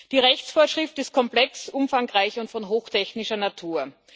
Die Rechtsvorschrift ist komplex, umfangreich und von hochtechnischer Natur.